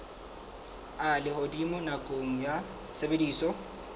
a lehodimo nakong ya tshebediso